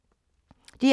DR2